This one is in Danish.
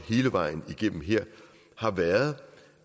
hele vejen igennem her har været